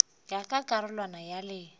ya ka karolwana ya le